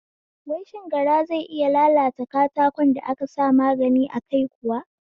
Wai shin gara zai iya lalata katakon da aka sa magani a kai kuwa?